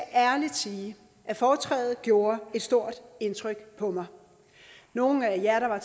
ærligt sige at foretrædet gjorde et stort indtryk på mig nogle af jer der var